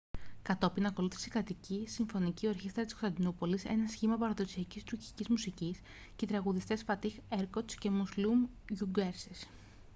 κατόπιν ακολούθησε η κρατική συμφωνική ορχήστρα της κωνσταντινούπολης ένα σχήμα παραδοσιακής τουρκικής μουσικής και οι τραγουδιστές φατίχ ερκότς και μουσλούμ γκιουρσές